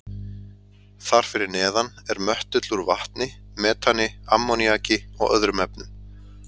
Þar fyrir neðan er möttull úr vatni, metani, ammoníaki og öðrum efnum.